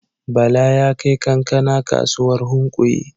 Bala ya kai kankana kasuwar Hunkuyi.